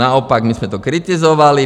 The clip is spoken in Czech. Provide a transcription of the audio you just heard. Naopak my jsme to kritizovali.